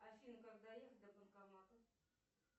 афина как доехать до банкомата